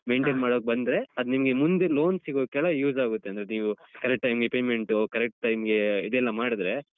Maintain ಮಾಡೋಕ್ ಬಂದ್ರೆ ಅದ್ ನಿಮ್ಗೆ ಮುಂದೆ loan ಸಿಗೋಕೆಲ್ಲ use ಆಗುತ್ತೆ. ಅಂದ್ರೆ ನೀವು correct time ಗೆ payment correct time ಗೆ ಇದೆಲ್ಲ ಮಾಡಿದ್ರೆ.